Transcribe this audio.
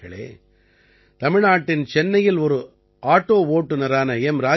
நண்பர்களே தமிழ்நாட்டின் சென்னையில் ஒரு ஆட்டோ ஓட்டுநரான எம்